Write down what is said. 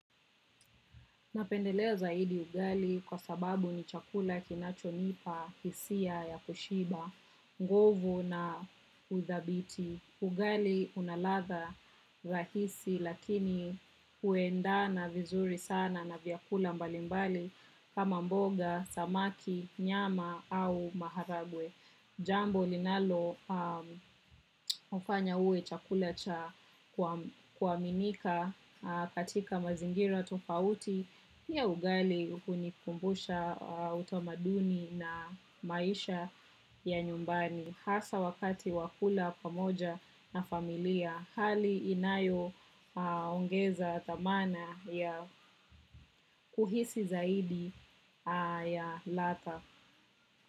Napendelea zaidi ugali kwa sababu ni chakula kinachonipa hisia ya kushiba, nguvu na uthabiti. Ugali una ladha rahisi lakini huendana vizuri sana na vyakula mbalimbali kama mboga, samaki, nyama au maharagwe. Jambo linalofanya uwe chakula cha kuaminika katika mazingira tofauti. Pia ugali hunikumbusha utamaduni na maisha ya nyumbani. Hasa wakati wa kula pamoja na familia. Hali inayo ongeza dhamana ya kuhisi zaidi ya ladha.